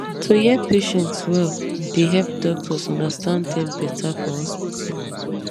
to hear patients well dey help doctors understand dem better for hospital